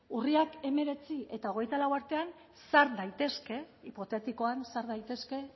urriak hemeretzi eta hogeita lau artean sar daitezke hipotetikoan sar daitezke